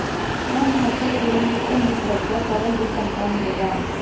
ਇਹ ਮਹੱਤਵਪੂਰਨ ਸਿਸਟਮ ਵਿੱਚ ਵਰਤਿਆ ਤਰਲ ਦੀ ਘਣਤਾ ਨੂੰ ਵਧਾ